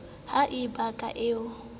ha e be ke ee